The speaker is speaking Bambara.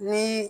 Ni